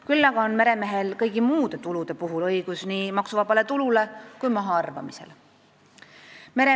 Küll aga on meremehel kõigi muude tulude puhul õigus nii maksuvabale tulule kui mahaarvamistele.